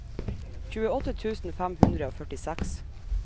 tjueåtte tusen fem hundre og førtiseks